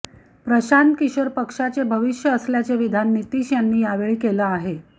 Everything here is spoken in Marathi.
प्रशांत किशोर पक्षाचे भविष्य असल्याचे विधान नितीश यांनी यावेळी केले आहे